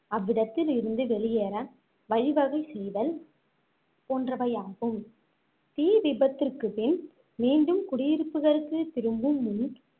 அவ்விடத்தில் இருந்து வெளியேற வழிவகை செய்தல் போன்றவையாகும் தீ விபத்திற்க்குப் பின் மீண்டும் குடியிருப்புகளுக்கு திரும்பும் முன்